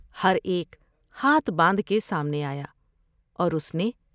ہر ایک ہاتھ باندھ کے سامنے آیا اور اس نے